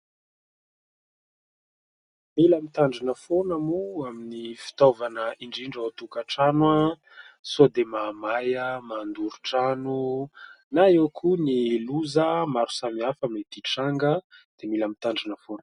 Mila mitandrina foana moa amin'ny fitaovana indrindra ao an-tokantrano sao dia mahamay, mandoro trano na eo koa ny loza maro samihafa mety hitranga, dia mila mitandrina foana.